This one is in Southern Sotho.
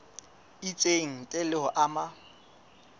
itseng ntle le ho ama